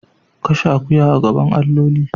Kashe akuya a gaban alloli.